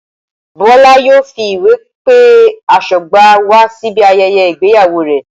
Bola yóò fi ìwé pe aṣọ́gbà wa síbi ayẹyẹ ìgbéyàwó rẹ̀.